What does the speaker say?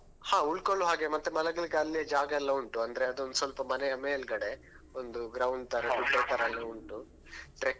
ಹಾ ಉಳ್ಕೊಳ್ಳೋ ಹಾಗೆ ಮತ್ತೆ ಮಲಗಲಿಕ್ಕೆ ಅಲ್ಲೇ ಜಾಗ ಎಲ್ಲಾ ಉಂಟು ಅಂದ್ರೆ ಅದೊಂದ್ ಸ್ವಲ್ಪ ಮನೆಯ ಮೇಲ್ಗಡೆ ಒಂದು ground ತರ ಗುಡ್ಡತರ ಎಲ್ಲಾ ಉಂಟು trekking